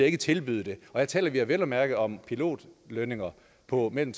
ikke tilbyde det her taler vi vel at mærke om pilotlønninger på mellem